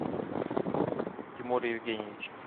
тимур евгеньевич